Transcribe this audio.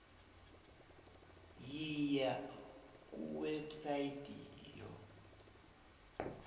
yiya kuwebsite yo